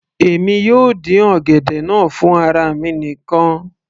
èmi yóò dín ọ̀gẹ̀dẹ̀ náà fún ara mi nìkan